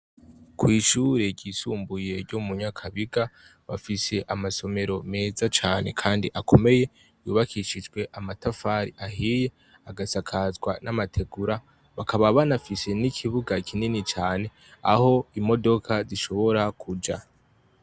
Kw'ishure ryisumbuye ryo mu Nyakabiga bafise amasomero meza cane kandi akomeye, yubakishijwe amatafari ahiye, agasakazwa n'amategura, bakaba banafise n'ikibuga kinini cane, aho imodoka zishobora kuja.